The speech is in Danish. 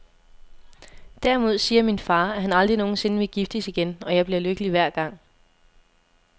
Derimod siger min far, at han aldrig nogensinde vil giftes igen, og jeg bliver lykkelig hver gang.